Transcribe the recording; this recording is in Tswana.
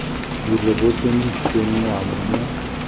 di rebotsweng di tsenngwa mo